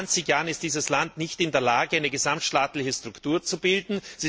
Seit zwanzig Jahren ist dieses Land nicht in der Lage, eine gesamtstaatliche Struktur zu bilden.